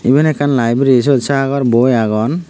iben ekkan laibri siyot sagor boi agon.